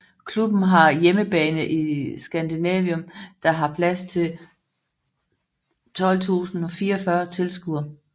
Klubben har hjemmebane i Scandinavium der har plads til 12044 tilskuere